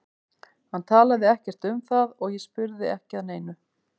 Hann talaði ekkert um það og ég spurði ekki að neinu.